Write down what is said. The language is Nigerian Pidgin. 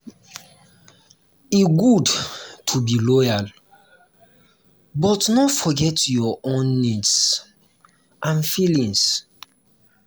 e good to be loyal but no forget your own needs and feelings.